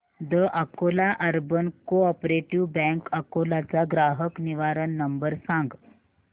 the Akola urban cooperative bank Akola चा ग्राहक निवारण नंबर सांग